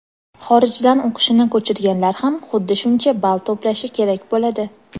xorijdan o‘qishini ko‘chirganlar ham xuddi shuncha ball to‘plashi kerak bo‘ladi.